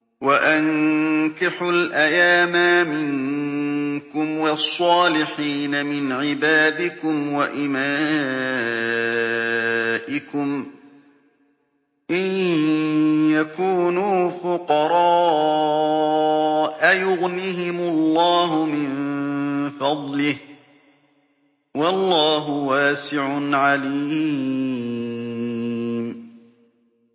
وَأَنكِحُوا الْأَيَامَىٰ مِنكُمْ وَالصَّالِحِينَ مِنْ عِبَادِكُمْ وَإِمَائِكُمْ ۚ إِن يَكُونُوا فُقَرَاءَ يُغْنِهِمُ اللَّهُ مِن فَضْلِهِ ۗ وَاللَّهُ وَاسِعٌ عَلِيمٌ